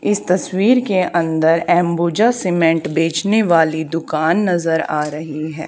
इस तस्वीर के अंदर एंबुजा सीमेंट बेचने वाली दुकान नजर आ रही है।